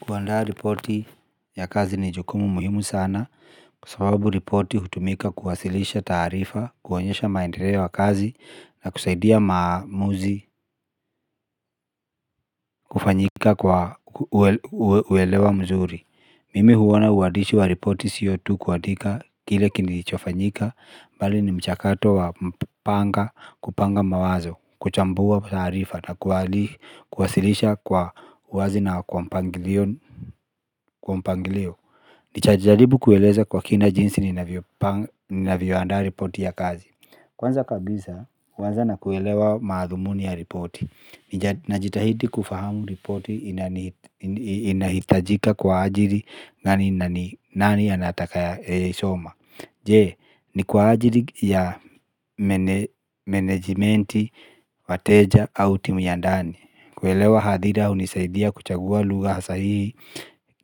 Kuandaa ripoti ya kazi ni jukumu muhimu sana kwa sababu ripoti hutumika kuwasilisha taarifa, kuonyesha maendeleo ya kazi na kusaidia maamuzi kufanyika kwa uelewa mzuri. Mimi huona uandishi wa ripoti sio tu kuandika kile kilichofanyika bali ni mchakato wa panga kupanga mawazo, kuchambua taarifa na kuwasilisha kwa uwazi na kwa mpangilio. Kwa mpangilio nitajaribu kueleza kwa kina jinsi ninavyoanda ripoti ya kazi. Kwanza kabisa kuanza na kuelewa maathumuni ya ripoti. Najitahidi kufahamu ripoti. Inahitajika kwa ajili na ni nani anataka soma. Je ni kwa ajili ya Menejmenti Wateja au timu ya ndani. Kuelewa hadhida hunisaidia kuchagua lugha sahihi.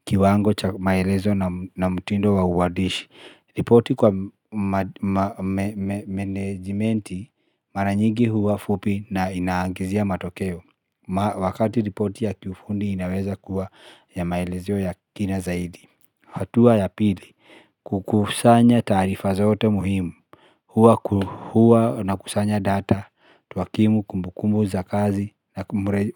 Kiwango cha maelezo na mtindo wa uandishi ripoti kwa managementi. Mara nyingi huwa fupi na inaagizia matokeo. Wakati ripoti ya kufundi inaweza kuwa ya maelezo ya kina zaidi. Hatua ya pili. Kukusanya taarifa zote muhimu. Huwa nakusanya data hakimu kumbukumbu za kazi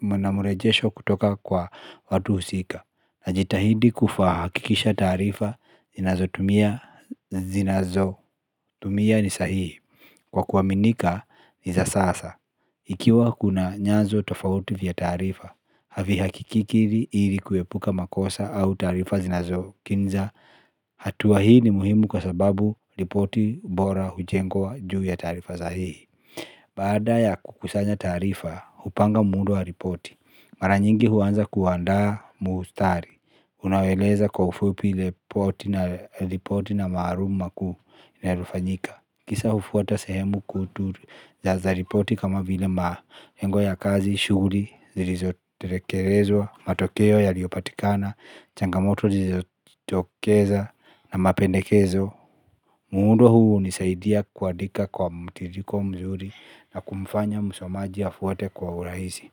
na mrejesho kutoka kwa watu husika. Najitahidi kuhakikisha taarifa zinazo tumia tumia ni sahihi kwa kuaminika ni za sasa. Ikiwa kuna nyazo tofauti vya taarifa. Havihakiki ili kuepuka makosa au taarifa zinazo kinza. Hatua hii ni muhimu kwa sababu ripoti bora hujengwa juu ya taarifa sahihi. Baada ya kukusanya taarifa, hupanga muundo wa ripoti. Mara nyingi huanza kuandaa mustari unaoeleza kwa ufupi ripoti na maalum makuu yaliyofanyika. Kisa hufuata sehemu kuu za kujaza ripoti kama vile malengo ya kazi, shughuli, zilizotekelezwa, matokeo yaliopatikana, changamoto zilizotokeza na mapendekezo. Muundo huu hunisaidia kuandika kwa mtiririko mzuri na kumfanya msomaji afuate kwa urahisi.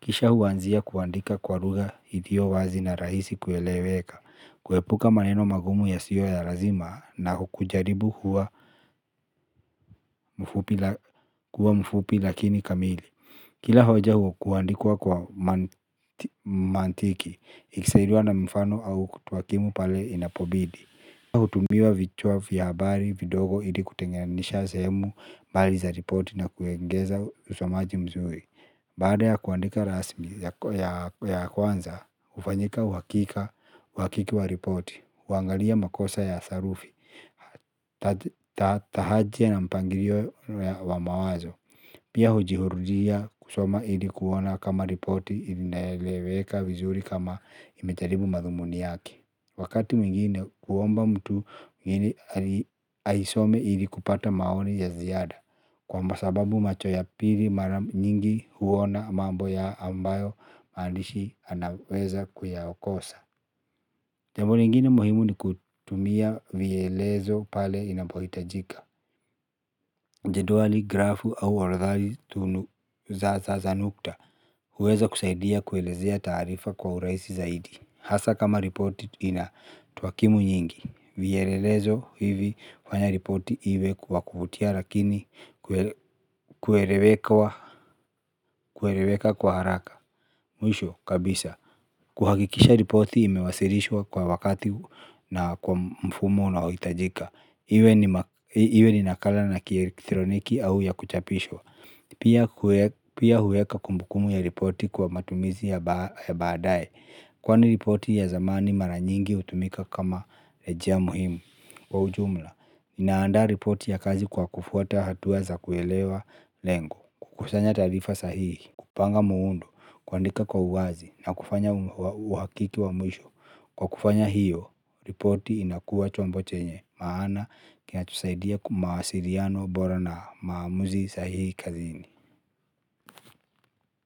Kisha huanzia kuandika kwa lugha iliyo wazi na rahisi kueleweka, kuepuka maneno magumu yasiyo ya lazima na kujaribu kuwa mfupi lakini kamili. Kila hoja huandikwa kwa mantiki, ikisaidiwa na mfano au kutuakimu pale inapobidi. Kwa hutumiwa vichwa vya habari vidogo ili kutenganisha sehemu, mbali za ripoti na kuegeza usomaji mzuri. Baada ya kuandika rasmi ya kwanza, hufanyika uhakika, uhakiki wa ripoti, huangalia makosa ya sarufi, tahajia na mpangilio wa mawazo, pia hujihurudia kusoma ilikuona kama ripoti, ilinaeleweka vizuri kama imejaribu madhumuni yake. Wakati mwingine huomba mtu mwingine aisome ili kupata maoni ya ziada. Kwa sababu macho ya pili mara nyingi huona mambo ya ambayo andishi anaweza kuyakosa. Jambo nyingine muhimu ni kutumia vielezo pale inapohitajika. Jedwali grafu au orodha nitunu za nukta. Huweza kusaidia kuelezea taarifa kwa urahisi zaidi. Hasa kama ripoti inatuhakimu nyingi. Vielelezo hivi hufanya ripoti iwe wa kuvutia lakini kueleweka kwa haraka. Mwisho kabisa kuhakikisha ripoti imewasilishwa kwa wakati na kwa mfumo unaohitajika iwe ni nakala na kielektroniki au ya kuchapishwa. Pia huweka kumbukumbu ya ripoti kwa matumizi ya baadae. Kwani ripoti ya zamani mara nyingi hutumika kama rejea muhimu. Kwa ujumla, ninaanda ripoti ya kazi kwa kufuata hatua za kuelewa lengo, kukusanya taarifa sahihi, kupanga muundo, kuandika kwa uwazi na kufanya uhakiki wa mwisho. Kwa kufanya hiyo, ripoti inakuwa chombo chenye, maana kina tusaidia kwa mawasiliano bora na maamuzi sahihi kazini.